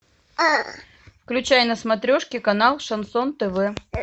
включай на смотрешке канал шансон тв